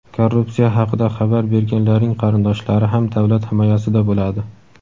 Korrupsiya haqida xabar berganlarning qarindoshlari ham davlat himoyasida bo‘ladi.